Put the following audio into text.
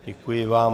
Děkuji vám.